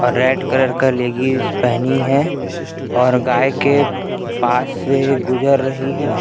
और red colour का leggings पेहनी है और गाय के पास से गुजर रही है।